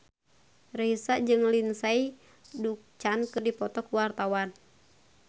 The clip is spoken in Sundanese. Raisa jeung Lindsay Ducan keur dipoto ku wartawan